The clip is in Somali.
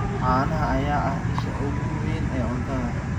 Caanaha ayaa ah isha ugu weyn ee cuntada.